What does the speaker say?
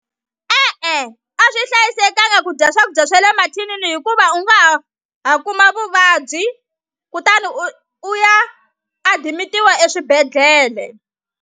E-e a swi hlayisekanga ku dya swakudya swa le mathinini hikuva u nga ha ha kuma vuvabyi kutani u u ya adimitiwa eswibedhlele.